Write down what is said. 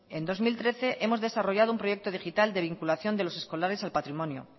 en dos mil trece hemos desarrollado un proyecto digital de vinculación de los escolares al patrimonio